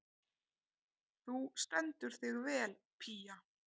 Þú stendur þig vel, Pía!